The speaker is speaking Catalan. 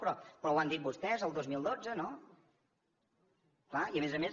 però ho han dit vostès el dos mil dotze no clar i a més a més